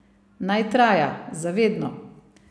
Naj traja, za vedno.